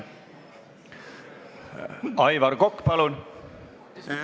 Aivar Kokk, palun!